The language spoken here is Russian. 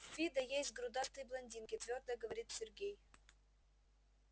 в фидо есть грудастые блондинки твёрдо говорит сергей